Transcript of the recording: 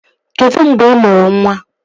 Kedụ mgbe ị mụrụ nwa?